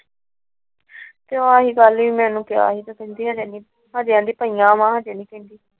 ਜੇ ਆਉਂਦੀ ਪਈਆਂ ਨੇ ਹਜੇ ਨਹੀਂ ਪਾਉਣੀ।